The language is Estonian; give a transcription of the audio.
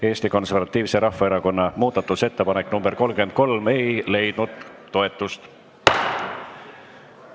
Eesti Konservatiivse Rahvaerakonna muudatusettepanek nr 33 ei leidnud toetust.